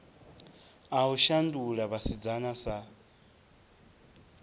a u shandula vhasidzana sa